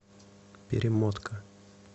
перемотка